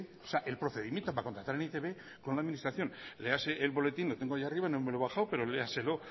o sea el procedimiento para contratar en e i te be con la administración léase el boletín lo tengo ahí arriba no me lo he bajado pero léaselo